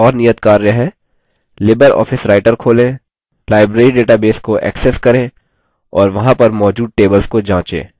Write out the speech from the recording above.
1 libreoffice writer खोलें library database को access करें और वहाँ पर मौजूद tables को जाँचें